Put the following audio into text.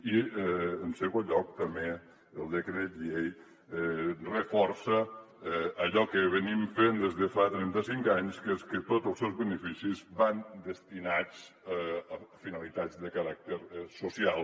i en segon lloc també el decret llei reforça allò que fem des de fa trentacinc anys que és que tots els seus beneficis van destinats a finalitats de caràcter social